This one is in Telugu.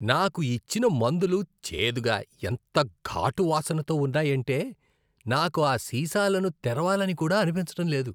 నాకు ఇచ్చిన మందులు చేదుగా, ఎంత ఘాటు వాసనతో ఉన్నాయంటే నాకు ఆ సీసాలను తెరవాలని కూడా అనిపించడం లేదు.